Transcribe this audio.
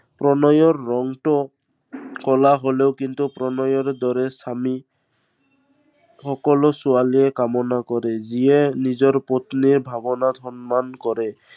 প্ৰণয়ৰ ৰঙটো ক'লা হলেও কিন্তু প্ৰণয়ৰ দৰে স্বামী সকলো ছোৱালীয়ে কামনা কৰে। যিয়ে নিজৰ পত্নীৰ ভাৱনাক সন্মান কৰে।